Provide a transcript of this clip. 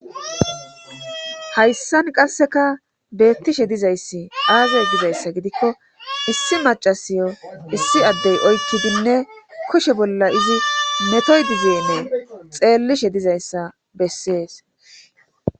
Hayssan qasseka beettishe dizayssi aazey dizayssa gidikko issi macasiyo issi addey oykkidinne koshe bolla izi metoy dizeennee xeellishe dizayssa bessees.